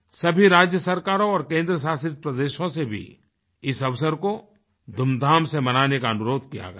सभी राज्य सरकारों और केन्द्रीय शासित प्रदेशों से भी इस अवसर को धूमधाम से मनाने का अनुरोध किया गया है